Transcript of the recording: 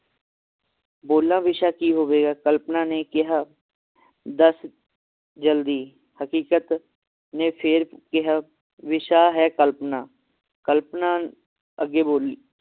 ਬੋਲਾਂ ਵਿਸ਼ਾ ਕੀ ਹੋਵੇਗਾ? ਕਲਪਨਾ ਨੇ ਕਿਹਾ ਦੱਸ ਜਲਦੀ ਹਕੀਕਤ ਨੇ ਫੇਰ ਕਿਹਾ ਵਿਸ਼ਾ ਹੈ ਕਲਪਨਾ ਕਲਪਨਾ ਅੱਗੇ ਬੋਲੀ